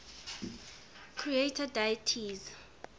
creator deities